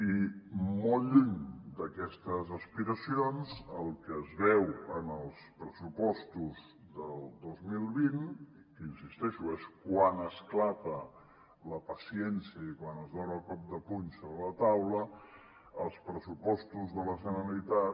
i molt lluny d’aquestes aspiracions el que es veu en els pressupostos del dos mil vint i que hi insisteixo és quan esclata la paciència i quan es dona el cop de puny sobre la taula els pressupostos de la generalitat